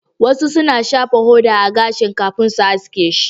Wasu na shafa hoda a gashin kafin su haske shi